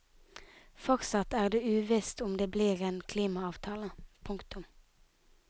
Fortsatt er det uvisst om det blir en klimaavtale. punktum